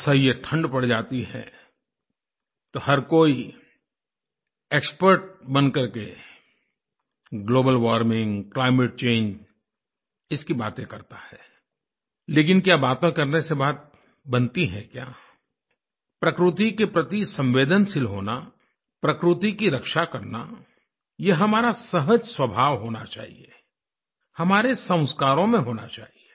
असहनीय ठंड पड़ जाती है तो हर कोई एक्सपर्ट बन करके ग्लोबल वार्मिंग क्लाइमेट चंगे इसकी बातें करता है लेकिन क्या बातें करने से बात बनती है क्या प्रकृति के प्रति संवेदनशील होना प्रकृति की रक्षा करना यह हमारा सहज स्वभाव होना चाहिए हमारे संस्कारों में होना चाहिए